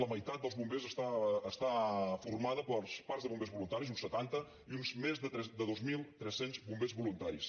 la meitat dels bombers està formada pels parcs de bombers voluntaris uns setanta i uns més de dos mil tres cents bombers voluntaris